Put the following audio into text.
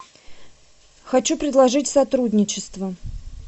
хочу предложить сотрудничество